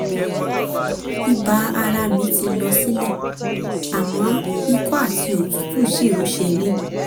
ibà ara mi ti lọ sílẹ̀ àmọ́ ikọ́ àti òtútù ṣì ń ṣe mí